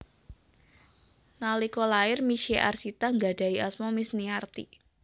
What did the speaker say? Nalika lair Misye Arsita nggadhahi asma Misniarti